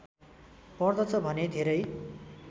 पर्दछ भने धेरै